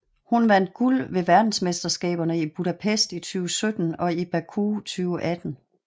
Hun vandt guld ved verdensmesterskaberne i Budapest i 2017 og i Baku 2018